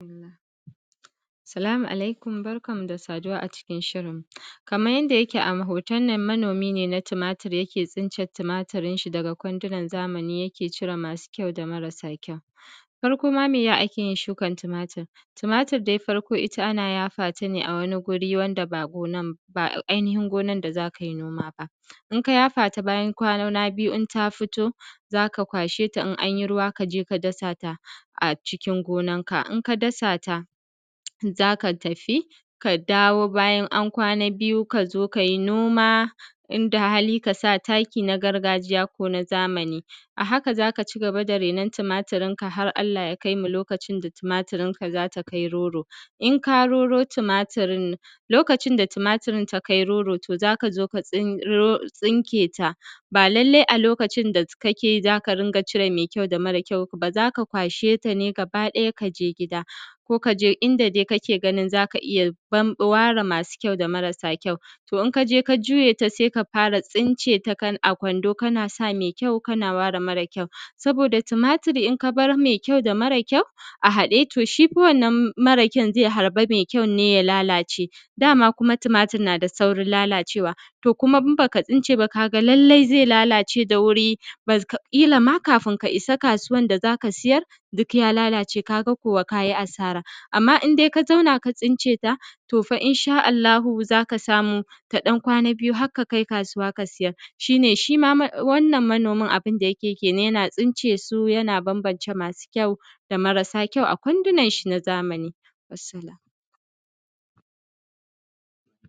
Assalamu alaikum. Barkanmu da saduwa a cikin shirin, kaman yanda yake a hotonnan, manomi ne na tumatur, yake tsince tumaturinshi daga kwandonan zamani, yana cire masu ƙyau da marasa ƙyau. Farko ma, me ake yin shukan tumatur? Tumatur dai ita, farko ana yafa ta ne a wani guri wanda ba ainihin gonan da za kai noma ba. Idan ka yafa ta, bayan kwana biyu idan ta fito, za ka kwashe ta, idan an yi ruwa, ka je, ka dasa ta a cikin gonanka. Idan ka dasa ta, za ka tafi, ka dawo bayan an kwana biyu, ka duba, ka zo kai noma, inda hali, ka sa taki na gargajiya ko na zamani. A haka, za ka ci gaba da rainon tumaturinka, har ta kai mu lokacin da za ta kai roro. In ka roro tumaturin, lokacin da tumaturin ta kai roro, to, za ka zo ka tsinke ta. Ba lalle ne a lokacin da kake za ka rinƙa cire mai ƙyau da mara ƙyau ba. Za ka kwashe ta ne gaba ɗaya, ka je gida ko ka je inda dai kake ganin za ka iya ware masu ƙyau da marasa ƙyau. To, idan ka je, ka juye ta, sai ka fara tsinceta a kwando, kana sa mai ƙyau, kana ware mara ƙyau. Domin tumatur idan ka bar mai ƙyau da mara ƙyau a haɗe, to, shi fa wannan mara ƙyau zi harba mai ƙyaun, ne ya lalace. Dama kuma tumatur na da saurin lalacewa, to kuma in ba ka tsince ba, ka ga, lallai zai lalace da wuri. Kila ma, kafin ka isa kasuwan da za ka siyar, duk ya lalace, ka ga kuwa, ka yi asara. Amma idan ka zauna, ka tsince ta, to fa, in sha Allahu, za ka samu ta ɗan kwana biyu, har ka kai kasuwan, ka siyar. Shi ne, shi ma wannan manomin, abunda yake yi kenan, yana tsince su, yana bambance masu ƙyau da marasa ƙyau a kwandonansa na zamani. Wassalam.